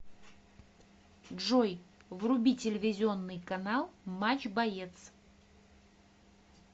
джой вруби телевизионный канал матч боец